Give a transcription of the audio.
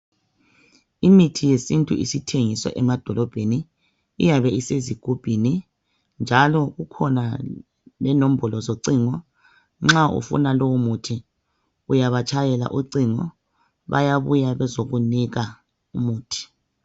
Imithi yesintu isithengiswa emadolobheni iyabe isezigubhini njalo kukhona lenombolo zocingo nxa ufuna lowomuthi uyabatshayela ucingo bayabuya bezokunika umuthi.